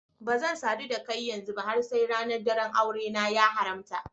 Bazan sadu da kai ba yanzu har sai ranar daran aure na ya haramta.